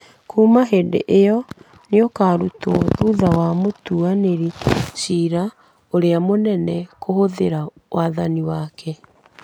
kuuma hĩndĩ ĩyo nĩ ũkaarutwo thutha wa mũtuanĩri cira ũrĩa mũnene kũhũthĩra wathani wake